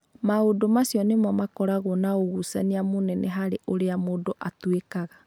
Maũndũ macio nĩmo makoragwo na ũgucania mũnene harĩ ũrĩa mũndũ atuĩkaga.